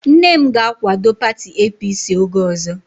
Nne m ga-akwado pati APC oge ọzọ